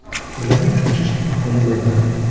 bilan uchrashish imkoni bo‘lmadi.